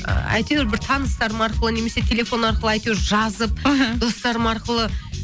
әйтеуір бір таныстарым арқылы немесе телефон арқылы әйтеуір жазып мхм достарым арқылы